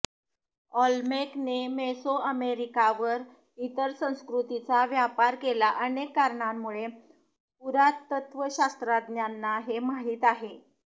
Olmec ने मेसोअमेरिकावर इतर संस्कृतींचा व्यापार केला अनेक कारणांमुळे पुरातत्त्वशास्त्रज्ञांना हे माहीत आहे